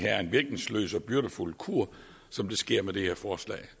virkningsløs og byrdefuld kur som det sker med det her forslag